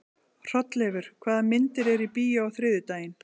Hrolleifur, hvaða myndir eru í bíó á þriðjudaginn?